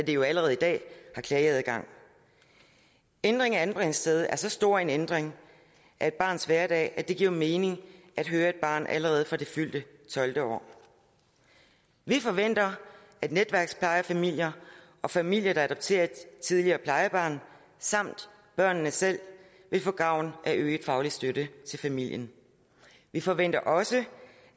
jo allerede i dag har klageadgang ændring af anbringelsesstedet er så stor en ændring af et barns hverdag at det giver mening at høre et barn allerede fra det fyldte tolvte år vi forventer at netværksplejefamilier og familier der adopterer et tidligere plejebarn samt børnene selv vil få gavn af øget faglig støtte til familien vi forventer også